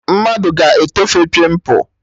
Mmadụ ga-etofe pịmpụ